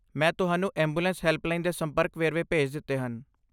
ਮੈਂ ਤੁਹਾਨੂੰ ambulance helpline ਦੇ ਸੰਪਰਕ ਵੇਰਵੇ ਭੇਜ ਦਿੱਤੇ ਹਨ।